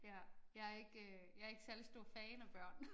Ja jeg ikke øh jeg ikke særlig stor fan af børn